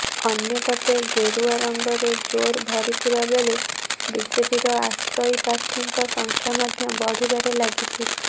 ଅନ୍ୟପଟେ ଗେରୁଆ ରଙ୍ଗରେ ଜୋର ଭରିଥିବାବେଳେ ବିଜେପିର ଆଶାୟୀ ପ୍ରାର୍ଥୀ ଙ୍କ ସଂଖ୍ୟା ମଧ୍ୟ ବଢ଼ିବାରେ ଲାଗିଛି